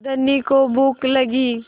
धनी को भूख लगी